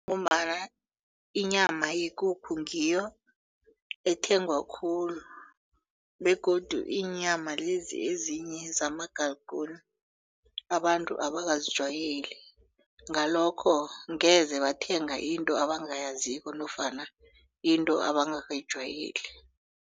Ngombana inyama yekukhu ngiyo ethengwa khulu begodu iinyama lezi ezinye zamagalguni abantu abakazijwayeli ngalokho ngeze bathenga into abangayaziko nofana into abangakayijwayeli.